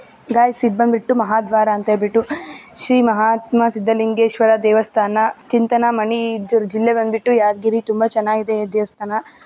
Guys ಈದ್ ಬಂದ್ಬಿಟ್ಟು ಮಹಾದ್ವಾರ ಅಂತ ಹೆಳಬಿಟ್ಟು ಶ್ರೀ ಮಹಾತ್ಮಾ ಸಿದ್ದಲಿಂಗೇಶ್ವರ ದೇವಸ್ಥಾನ ಚಿಂತಾನಮಣಿ ಜಿಲ್ಲೆ ಬಂದ್ಬಿಟ್ಟು ಯಾದಗಿರಿ ತುಂಬಾ ಚೆನ್ನಾಗಿದೆ ಈ ದೇವಸ್ಥಾನ .